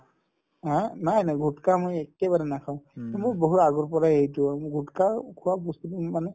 haa নাই নাই গুটকা মই একেইবাৰে নাখাওঁ মোৰ বহু আগৰ পৰাইয়ে এইটো গুটকা খোৱা বস্তুতো মানে